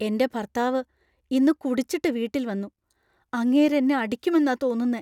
എന്‍റെ ഭർത്താവ് ഇന്ന് കുടിച്ചിട്ട് വീട്ടിൽ വന്നു . അങ്ങേര് എന്നെ അടിക്കുമെന്നാ തോന്നുന്നേ.